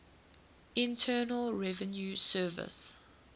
internal revenue service